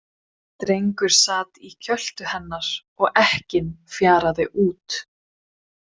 Drengur sat í kjöltu hennar og ekkinn fjaraði út.